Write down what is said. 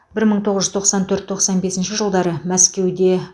бір мың тоғыз жүз тоқсан төрт тоқсан бес жылдары мәскеуде